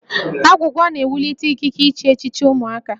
Agwụgwa na-ewulite ikike iche echiche ụmụaka